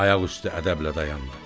Ayaq üstə ədəblə dayandı.